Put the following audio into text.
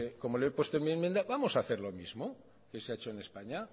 como lo he puesto en mi enmienda vamos a hacer lo mismo que se ha hecho en españa